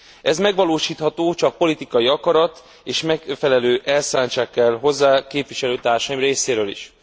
Ez megvalósítható, csak politikai akarat és megfelelő elszántság kell hozzá képviselőtársaim részéről is.